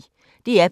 DR P1